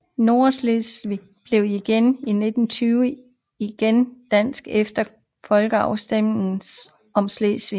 Nordslesvig blev i 1920 igen dansk efter folkeafstemningen om Slesvig